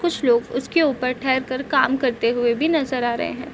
कुछ लोग उसके ऊपर ठहर कर काम करते हुए भी नजर आ रहे हैं।